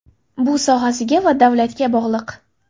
Bu sohasiga va davlatga bog‘liq.